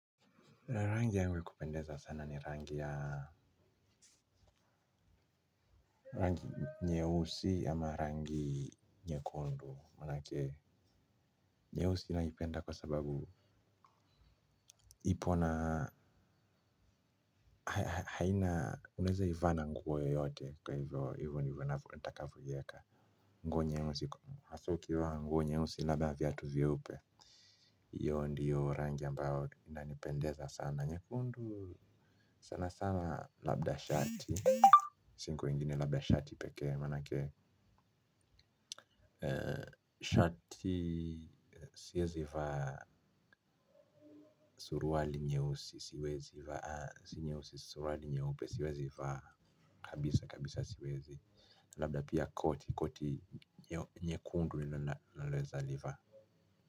Rangi yenye kupendeza sana ni rangi ya rangi ya nyeusi ama rangi nyekundu, maanake nyehusi inaipenda kwa sababu ipo na haina, unaweza ivaa na nguo yoyote, kwa hivyo, hiyvo ndivyo nitakavyo iweka. Nguo nyeusi, hasa ukivaa nguo nyeusi navaa na viatu vyeupe. Iyo ndiyo rangi ambayo inanipendeza sana nyekundu sana sana labda shati. Siku ingine labda shati pekee maenake shati siwezi vaa suruali nyeusi siwezi vaa kabisa kabisa siwezi. Labda pia koti koti nyekundu nina naweza livaa.